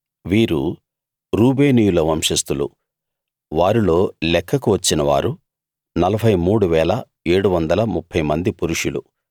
వీరు రూబేనీయుల వంశస్థులు వారిల్లో లెక్కకు వచ్చినవారు 43 730 మంది పురుషులు